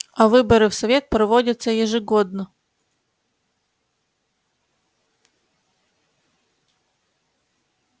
а выборы в совет проводятся ежегодно